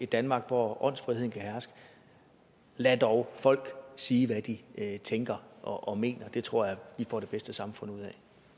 danmark hvor åndsfriheden kan herske lad dog folk sige hvad de tænker og mener det tror jeg vi får det bedste samfund ud af